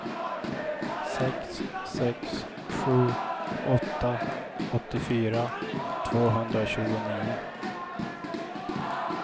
sex sex sju åtta åttiofyra tvåhundratjugonio